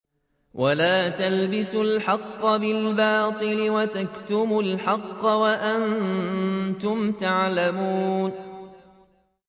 وَلَا تَلْبِسُوا الْحَقَّ بِالْبَاطِلِ وَتَكْتُمُوا الْحَقَّ وَأَنتُمْ تَعْلَمُونَ